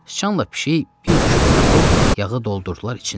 Sıçanla pişik bir küpə tapıb yağı doldurdular içinə.